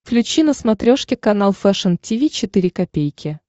включи на смотрешке канал фэшн ти ви четыре ка